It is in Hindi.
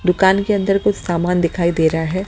दुकान के अंदर कुछ सामान दिखाई दे रहा है।